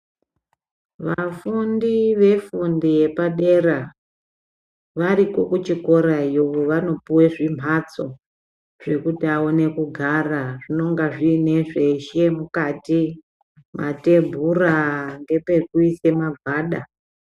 Vafundi vefundo yepadera variyo kuchikorayo vanopuwa zvimbatso zvekuti aone kugara zvinenge zvine zveshe zvemukati matebhura nepekuisa magwada.